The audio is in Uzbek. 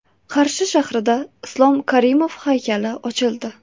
Qarshi shahrida Islom Karimov haykali ochildi.